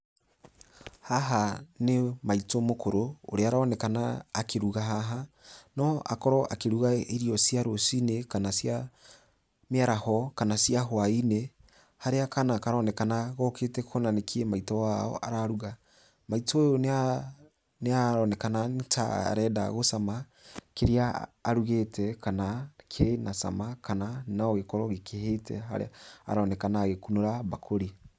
Haha nĩ maitũ mũkũrũ ũrĩa ũronekana akĩruga haha. No akorwo akĩruga irio cia rũcinĩ, kana cia mĩaraho, kana cia hwainĩ, harĩa kana karonekana gokĩte kuona nĩkiĩ maitũ wao araruga. Maitũ ũyũ nĩ aronekana nĩ ta arenda gũcama kĩrĩa arugĩte kana kĩna cama kana no gĩkorwo gĩkũhĩte, harĩa aronekana agĩkunũra mbakũri.